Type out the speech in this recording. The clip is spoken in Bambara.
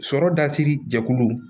Sɔrɔ dasiri jɛkulu